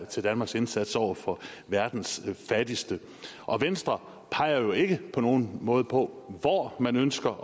til danmarks indsats over for verdens fattigste og venstre peger jo ikke på nogen måde på hvor man ønsker